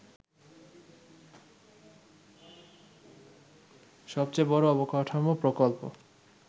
সবচেয়ে বড় অবকাঠামো প্রকল্প